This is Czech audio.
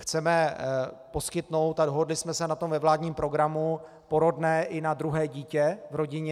Chceme poskytnout - a dohodli jsme se na tom ve vládním programu - porodné i na druhé dítě v rodině.